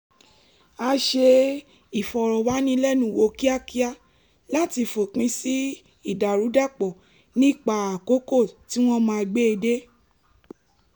a ṣe ìfọ̀rọ̀wánilẹ́nuwò kíákíá láti fòpin sí ìdàrúdàpọ̀ nípa àkókò tí wọ́n máa gbé e dé